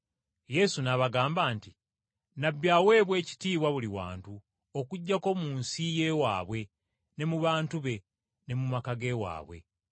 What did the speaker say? Yesu n’abagamba nti, “Nnabbi aweebwa ekitiibwa buli wantu okuggyako mu nsi y’ewaabwe ne mu bantu be ne mu maka ge waabwe.”